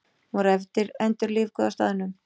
Hún var endurlífguð á staðnum